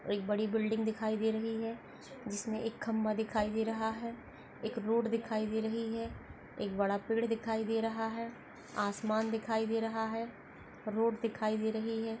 एक बड़ी बिल्डिंग दिखाई दे रही है जिसमे मे एक खंभा दिखाई दे रहा है एक रोड दिखाई दे रही है एक बड़ा पेड दिखाई दे रहा है आसमान दिखाई दे रहा है रोड दिखाई दे रही है।